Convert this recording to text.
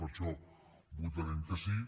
per això hi votarem que sí